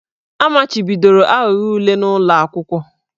A machibidoro aghụghọ ule n'ụlọ akwụkwọ.